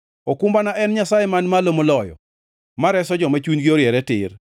Okumbana en Nyasaye Man Malo Moloyo, ma reso joma chunygi oriere tir.